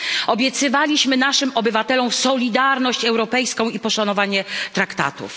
Obiecywaliśmy naszym obywatelom solidarność europejską i poszanowanie traktatów.